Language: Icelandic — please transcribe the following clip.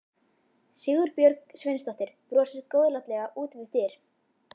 Sigurbjörg Sveinsdóttir brosir góðlátlega út við dyr.